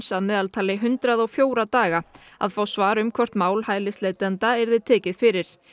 að meðaltali hundrað og fjóra daga að fá svar um hvort mál hælisleitenda yrði tekið fyrir